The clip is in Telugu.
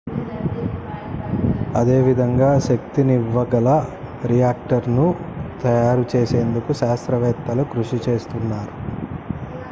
అదే విధంగా శక్తినివ్వ గల రియాక్టర్ ను తయారు చేసేందుకు శాస్త్రవేత్తలు కృషి చేస్తున్నారు